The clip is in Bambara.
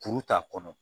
Kuru t'a kɔnɔ